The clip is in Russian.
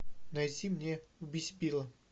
найти мне убить билла